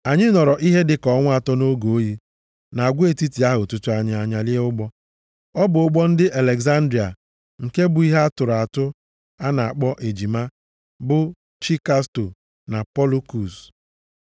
Anyị nọrọ ihe dịka ọnwa atọ nʼoge oyi, nʼagwa etiti ahụ tutu anyị anyalie ụgbọ. Ọ bụ ụgbọ ndị Alegzandria nke bu ihe a tụrụ atụ a na-akpọ ejima, bụ chi Kastọ na Polụkus.